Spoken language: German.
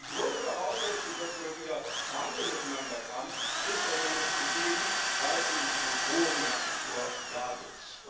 Also die Grundvoraussetzung, dass man wieder miteinander verhandeln kann, ist ja noch nicht gegeben, weil eben diese Drohungen nach wie vor da sind.